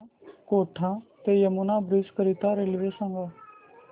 मला कोटा ते यमुना ब्रिज करीता रेल्वे सांगा